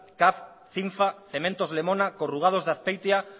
caf cinfa cementos lemona corrugados de azpeitia